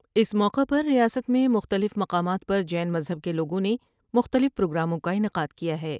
اس موقع پر ریاست میں مختلف مقامات پر جین مذہب کے لوگوں نے مختلف پروگراموں کا انعقاد کیا ہے ۔